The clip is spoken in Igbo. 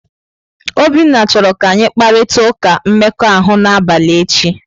Obinna chọrọ ka anyị kparịta ụka mmekọahụ n'abalị echi.